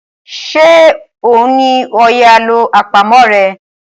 ṣe o ní òye àlọ́ àpamọ̀ rẹ?